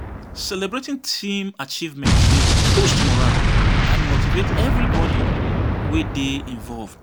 Celebrating team achievements dey boost morale and motivate everybody wey dey involved.